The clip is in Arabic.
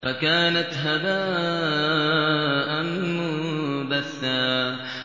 فَكَانَتْ هَبَاءً مُّنبَثًّا